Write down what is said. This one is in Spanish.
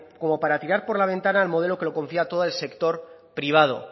como para tirar por la ventana el modelo que lo confía todo al sector privado